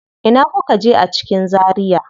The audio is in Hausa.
Ina kuka je a cikin Zaria?